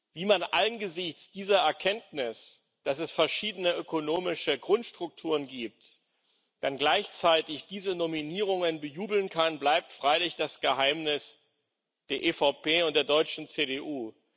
Wie man angesichts dieser Erkenntnis, dass es verschiedene ökonomische Grundstrukturen gibt, dann gleichzeitig diese Nominierungen bejubeln kann, bleibt freilich das Geheimnis der EVP und der deutschen CDU.